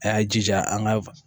A y'a jija an ka